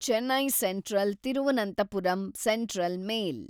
Chennai central Thiruvananthapuram central mail